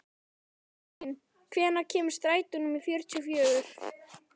Benjamín, hvenær kemur strætó númer fjörutíu og fjögur?